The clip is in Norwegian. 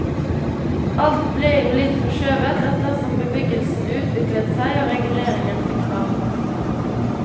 Alt ble jo litt forskjøvet etter som bebyggelsen utviklet seg og reguleringen fikk fart.